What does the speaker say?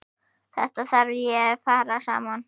Þetta þarf að fara saman.